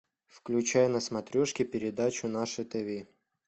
включай на смотрешке передачу наше тв